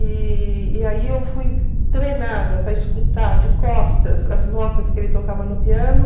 E e aí eu fui treinada para escutar de costas as notas que ele tocava no piano.